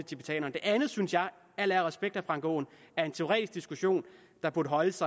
tibetanerne det andet synes jeg al ære og respekt for herre frank aaen er en teoretisk diskussion der burde holdes